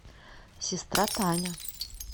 сестра таня